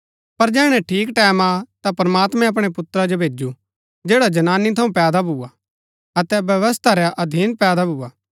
पर जैहणै ठीक टैमं आ ता प्रमात्मैं अपणै पुत्रा जो भैजु जैडा जनानी थऊँ पैदा भूआ अतै व्यवस्था रै अधीन पैदा भूआ